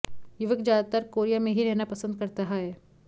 युवक ज्यादातर कोरिया में ही रहना पसंद करता है